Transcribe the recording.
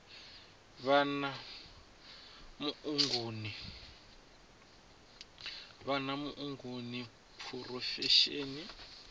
vha na muongi wa phurofesheni